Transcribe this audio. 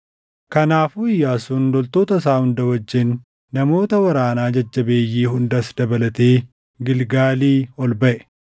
Kanaafuu Iyyaasuun loltoota isaa hunda wajjin, namoota waraanaa jajjabeeyyii hundas dabalatee Gilgaalii ol baʼe.